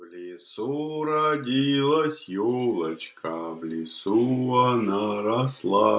в лесу родилась ёлочка в лесу она росла